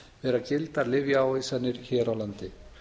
vera gildar lyfjaávísanir hér á landi